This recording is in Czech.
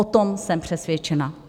O tom jsem přesvědčena.